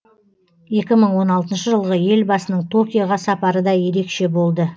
екі мың он алтыншы жылғы елбасының токиоға сапары да ерекше болды